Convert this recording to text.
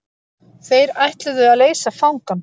Þeir ætluðu að leysa fangann.